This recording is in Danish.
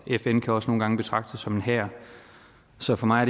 fn kan også nogle gange betragtes som en hær så for mig